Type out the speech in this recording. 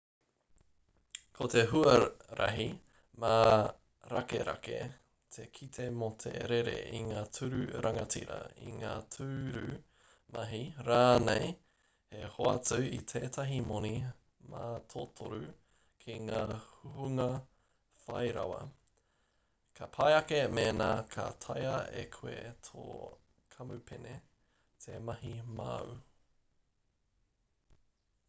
ko te huarahi mārakerake te kite mō te rere i ngā tūru rangatira i ngā tūru mahi rānei he hoatu i tētahi moni mātotoru ki te hunga whairawa ka pai ake mēnā ka taea e koe tō kamupene te mahi māu